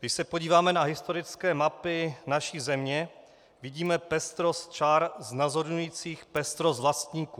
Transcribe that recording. Když se podíváme na historické mapy naší země, vidíme pestrost čar znázorňujících pestrost vlastníků.